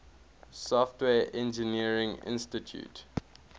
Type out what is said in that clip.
software engineering institute